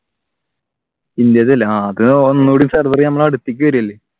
ഇന്ത്യത്തിലെ അല്ലെ അത് ഒന്നുകൂടി server നമ്മുടെ അടുത്തേക്ക് വരുകയല്ലേ